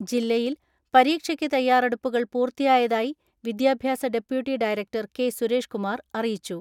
ജില്ല യിൽ പരീക്ഷയ്ക്ക് തയ്യാറെടുപ്പുകൾ പൂർത്തിയായതായി വിദ്യാഭ്യാസ deputy director K Suresh Kumar അറിയിച്ചു.